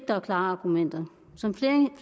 der er klare argumenter som